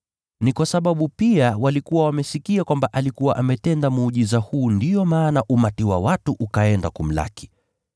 Ni kwa sababu pia walikuwa wamesikia kwamba alikuwa ametenda muujiza huu ndiyo maana umati wa watu ukaenda kumlaki.